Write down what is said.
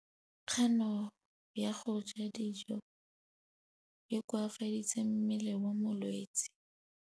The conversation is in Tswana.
Kganô ya go ja dijo e koafaditse mmele wa molwetse.